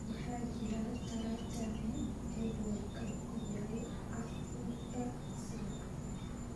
waxaa jira tareeno jadwalka ku yaal afarta saac